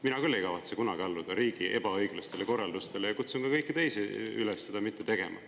Mina küll ei kavatse kunagi alluda riigi ebaõiglastele korraldustele ja kutsun ka kõiki teisi üles seda mitte tegema.